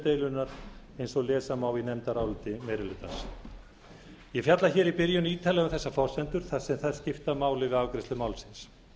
deilunnar eins og lesa má í nefndaráliti meiri hlutans ég fjalla hér í byrjun ítarlega um þessar forsendur þar sem þær skipta máli við afgreiðslu málsins